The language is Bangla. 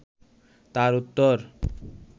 তার উত্তর